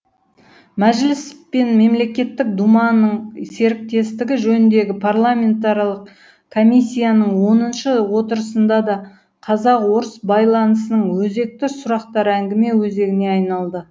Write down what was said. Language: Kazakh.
мәжіліс пен мемлекеттік думаның серіктестігі жөніндегі парламентаралық комиссияның оныншы отырысында да қазақ орыс байланысының өзекті сұрақтары әңгіме өзегіне айналды